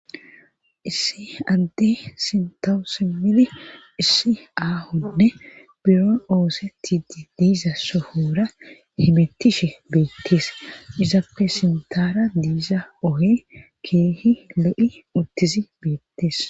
issi adde sintawusi mili issi aahonne biro oosetidi diiza sohora himettishe beettees izappe sintara diiza ohe keehi le7i uttizi beettees